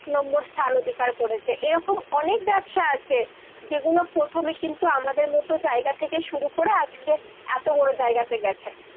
এক নম্বর স্থান অধিকার করেছে। এরকম অনেক ব্যবসা আছে যেগুলো প্রথমে কিন্তু আমাদের মতো জায়গা থেকে শুরু করে আজকে এতো বড় জায়গাতে গেছে।